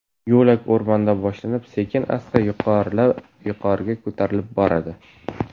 Yo‘lak o‘rmonda boshlanib, sekin-asta yuqoriga ko‘tarilib boradi.